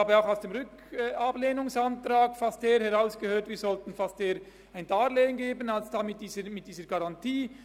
Aus dem Ablehnungsantrag habe ich auch herausgehört, dass wir schon fast eher ein Darlehen als diese Garantie geben sollen.